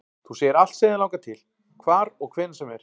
Þú segir allt sem þig langar til, hvar og hvenær sem er